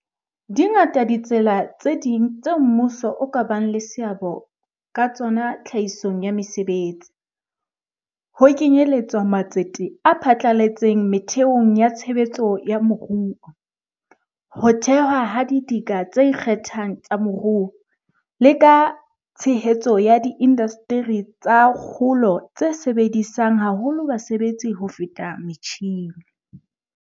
Dingata ditsela tse ding tseo mmuso o ka bang le seabo ka tsona tlhahisong ya mesebetsi, ho kenyeletswa matsete a phatlaletseng metheong ya tshebetso ya moruo, ho thewa ha didika tse ikgethang tsa moruo, le ka tshehetso ya diindasteri tsa kgolo tse sebedisang haholo basebetsi ho feta metjhine.